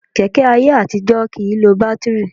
Kẹ̀kẹ́ ayé àtijọ́ kì í lo bátíìrì